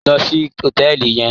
Lọ sí hòtẹ́ẹ̀lì yẹn.